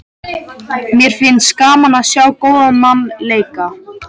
Mér finnst gaman að sjá góðan mann leika.